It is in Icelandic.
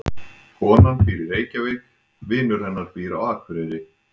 Konan býr í Reykjavík. Vinur hennar býr á Akureyri.